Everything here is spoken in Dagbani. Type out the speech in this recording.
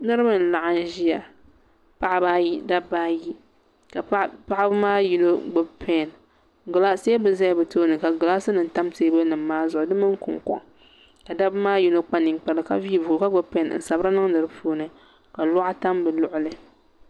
niriba n-laɣim ʒiya paɣiba ayi dabba ayi ka paɣiba maa yino gbubi pɛni teebuli zaya bɛ tooni ka gilaasinima tam teebuya maa zuɣu di mini kuŋkɔŋ ka dabba maa yino kpa ninkpara ka vii buku ka gbubi pɛni n-sbiri niŋdi di puuni ka lɔɣu tam bɛ luɣili